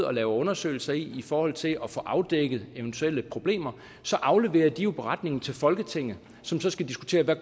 og laver undersøgelser i forhold til at få afdækket eventuelle problemer så afleverer de jo beretningen til folketinget som så skal diskutere hvad